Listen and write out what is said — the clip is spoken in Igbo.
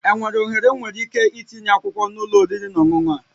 Enwere ohere m nwere ike itinye akwụkwọ na ụlọ oriri na ọṅụṅụ a?